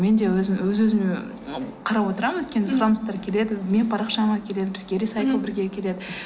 мен де өз өзіме қарап отырамын өйткені сұраныстар келеді менің парақшама келеді бізге рисайклбіргеге келеді